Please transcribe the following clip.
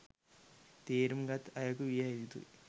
තේරුම් ගත් අයකු විය යුතුයි